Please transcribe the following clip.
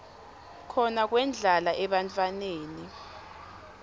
khona kwendlala ebantfwaneni